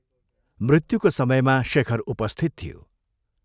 मृत्युको समयमा शेखर उपस्थित थियो।